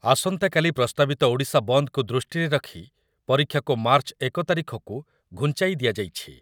ଆସନ୍ତାକାଲି ପ୍ରସ୍ତାବିତ ଓଡ଼ିଶା ବନ୍ଦକୁ ଦୃଷ୍ଟିରେ ରଖି ପରୀକ୍ଷାକୁ ମାର୍ଚ୍ଚ ଏକ ତାରିଖକୁ ଘୁଞ୍ଚାଇ ଦିଆଯାଇଛି।